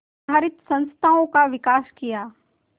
आधारित संस्थाओं का विकास किया